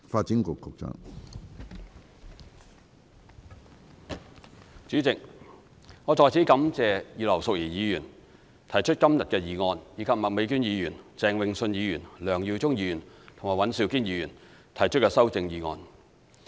主席，我在此感謝葉劉淑儀議員提出今天的議案，以及麥美娟議員、鄭泳舜議員、梁耀忠議員和尹兆堅議員提出修正案。